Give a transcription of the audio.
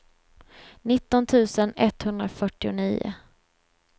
nitton tusen etthundrafyrtionio